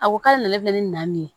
A ko k'ale nana ne bɛ nin na nin ye